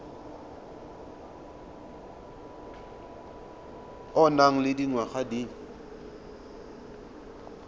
o nang le dingwaga di